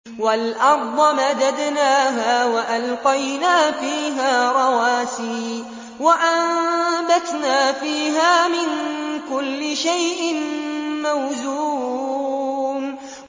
وَالْأَرْضَ مَدَدْنَاهَا وَأَلْقَيْنَا فِيهَا رَوَاسِيَ وَأَنبَتْنَا فِيهَا مِن كُلِّ شَيْءٍ مَّوْزُونٍ